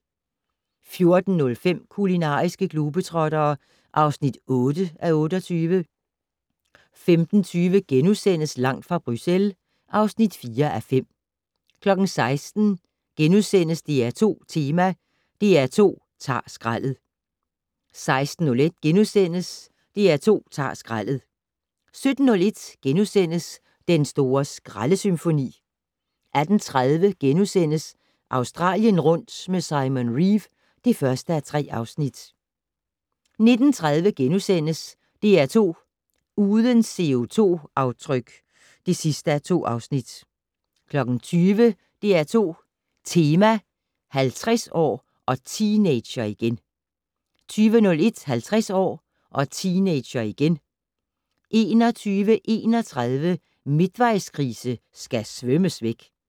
14:05: Kulinariske globetrottere (8:28) 15:20: Langt fra Bruxelles (4:5)* 16:00: DR2 Tema: DR2 ta'r skraldet * 16:01: DR2 ta'r skraldet * 17:01: Den store skraldesymfoni * 18:30: Australien rundt med Simon Reeve (1:3)* 19:30: DR2 Uden CO2-aftryk (2:2)* 20:00: DR2 Tema: 50 år - og teenager igen 20:01: 50 år - og teenager igen 21:31: Midtvejskrise skal svømmes væk